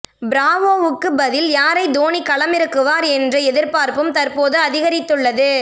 பிராவோவுக்கு பதில் யாரை தோனி களமிறக்குவார் என்ற எதிர்பார்ப்பும் தற்போது அதிகரித்துள்ளது